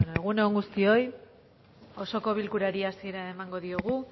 egun on egun on guztioi osoko bilkurari hasiera emango diogu